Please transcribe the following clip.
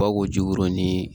Ba ko jukɔrɔ ni